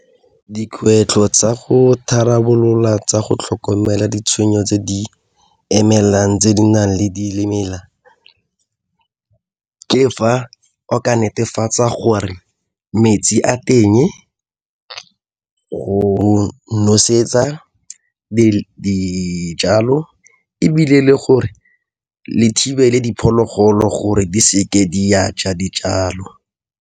Dikgwetlho tsa go tharabolola tsa go tlhokomela ditshwenyo tse di emelang tse di nang le di ke fa o ka netefatsa gore metsi a teng go nosetsa dijalo ebile le gore le thibele diphologolo gore di seke di a ja dijalo.